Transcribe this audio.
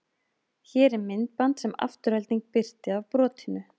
Hér er myndband sem Afturelding birti af brotinu.